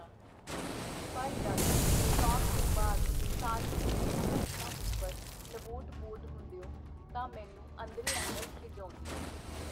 ਪਰ ਜਦ ਸ਼ਾਟ ਤੋਂ ਬਾਅਦ ਸਾਰੇ ਉਸ ਦੀਆਂ ਹਰਕਤਾਂ ਉਪਰ ਲਵੋਟ ਪੋਟ ਹੁੰਦਿਓ, ਤਾਂ ਮੈਨੂੰ ਅੰਦਰੇ-ਅੰਦਰ ਖਿੱਝ ਆਉਂਦੀ.